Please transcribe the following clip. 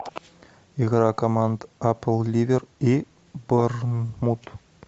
игра команд апл ливер и борнмут